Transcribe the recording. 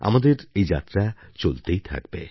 আমাদের এই যাত্রা চলতেই থাকবে